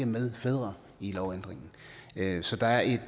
medfædre i lovændringen så der er et